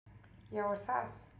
"""Já, er það?"""